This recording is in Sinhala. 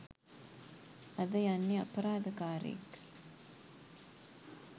අද යන්නෙ අපරාධ කාරයෙක්